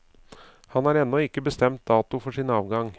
Han har ennå ikke bestemt dato for sin avgang.